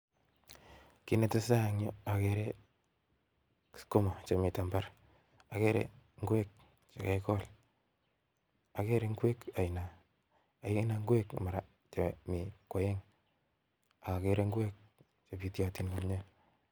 Kiit netesetaa en yuu okere sukuma chemiten imbar, okere ing'wek chakakikol, akere ing'wek aina mara Mii ko oeng, okokere ing'wek chebitiotin nea.